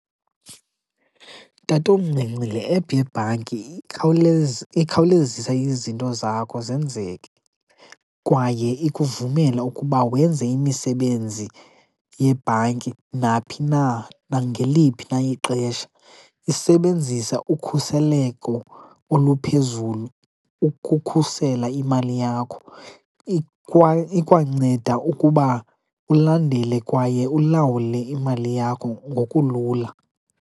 Tatomncinci, le ephu yebhanki ikhawulezisa izinto zakho zenzeke, kwaye ikuvumela ukuba wenze imisebenzi yebhanki naphi na nangeliphi na ixesha. Iisebenzisa ukhuseleko oluphezulu ukukhusela imali yakho, ikwanceda ukuba ulandele kwaye ulawule imali yakho ngokulula.